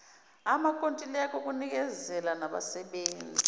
amakontileka okunikezela nabenzi